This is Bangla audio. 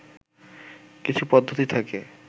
কিছু পদ্ধতি থাকে